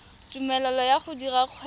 tumelelo ya go dira kgwebo